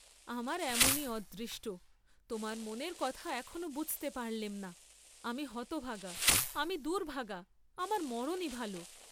আমার এমনি অদৃষ্ট, তােমার মনের কথা এখনো বুঝতে পারলেম না, আমি হতভাগা, আমি দুর্ভাগা, আমার মরণই ভাল।